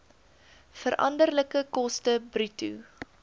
veranderlike koste bruto